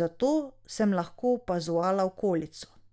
zato sem lahko opazovala okolico.